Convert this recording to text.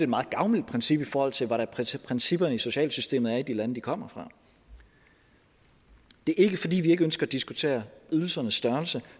meget gavmildt princip i forhold til hvordan principperne i de sociale systemer er i de lande de kommer fra det er ikke fordi vi ikke ønsker at diskutere ydelsernes størrelse